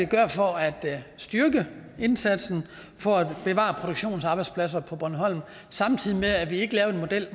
gøre for at styrke indsatsen for at bevare produktionsarbejdspladser på bornholm samtidig med at vi ikke lavede en model